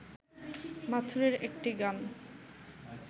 মাথুরের একটি গান